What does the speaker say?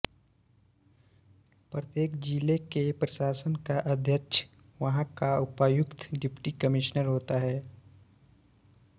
प्रत्येक जिले के प्रशासन का अध्यक्ष वहां का उपायुक्त डिप्टी कमिश्नर होता है